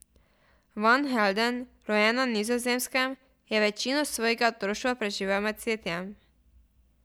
Van Helden, rojen na Nizozemskem, je večino svojega otroštva preživel med cvetjem.